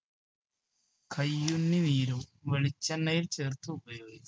കയ്യൂന്നി നീരോ വെളിച്ചെണ്ണയിൽ ചേർത്ത് ഉപയോഗി